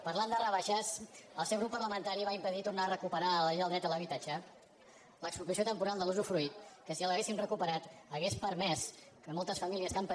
parlant de rebaixes el seu grup parlamentari va impedir tornar a recuperar a la llei del dret a l’habitatge l’expropiació temporal de l’usdefruit que si l’haguéssim recuperat hauria permès que moltes famílies que han patit molt en aquest país no ho haguessin fet